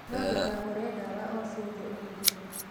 No ndũkagũre ndawa o ciothe ũhũthĩre